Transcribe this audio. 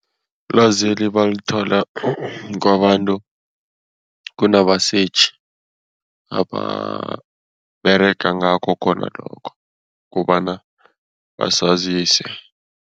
Ilwazeli balithola kwabantu kunabasetjhi ababerega ngakho khona lokho, kobana basazise.